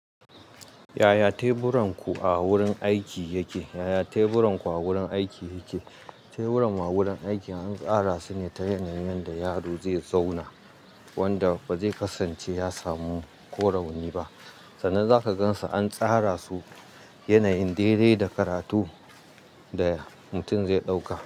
Yaya teburan ku a wurin aiki yake? Yaya teburan ku a wurin aiki yake? Teburan ma wurin aiki an tara su ne ta yanayin da yaro zai zauna, wadda ba zai kasance ya samu ko rauni ba. Sannan za ka gan su an tsara su yanayin dai dai da karatu da mutum zai ɗauka.